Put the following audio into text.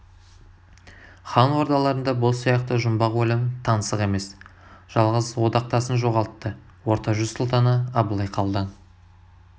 хан ордаларында бұл сияқты жұмбақ өлім таңсық емес жалғыз одақтасын жоғалтты орта жүз сұлтаны абылай қалдан